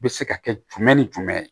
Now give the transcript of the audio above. Bɛ se ka kɛ jumɛn ni jumɛn ye